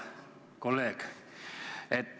Hea kolleeg!